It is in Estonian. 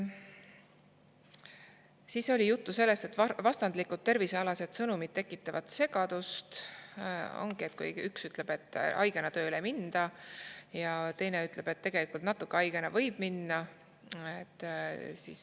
Siis oli juttu sellest, et vastandlikud tervisealased sõnumid tekitavad segadust, kui üks ütleb, et haigena tööle ei minda, ja teine ütleb, et tegelikult natuke haigena võib minna.